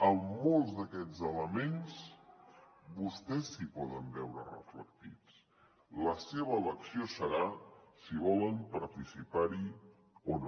en molts d’aquests elements vostès s’hi poden veure reflectits la seva elecció serà si volen participar hi o no